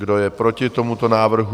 Kdo je proti tomuto návrhu?